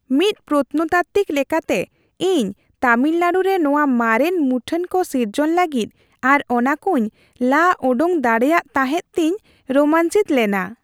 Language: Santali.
ᱢᱤᱫ ᱯᱨᱚᱛᱱᱚᱛᱟᱛᱛᱤᱠ ᱞᱮᱠᱟᱛᱮ, ᱤᱧ ᱛᱟᱢᱤᱞᱱᱟᱲᱩ ᱨᱮ ᱱᱚᱶᱟ ᱢᱟᱨᱮᱱ ᱢᱩᱴᱷᱟᱹᱱ ᱠᱚ ᱥᱤᱨᱡᱚᱱ ᱞᱟᱹᱜᱤᱫ ᱟᱨ ᱚᱱᱟ ᱠᱚᱧ ᱞᱟ ᱚᱰᱳᱠ ᱫᱟᱲᱮᱭᱟᱫ ᱛᱟᱦᱮᱫ ᱛᱮᱧ ᱨᱳᱢᱟᱧᱪᱤᱛᱚ ᱞᱮᱱᱟ ᱾